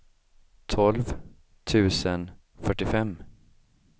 tolv tusen fyrtiofem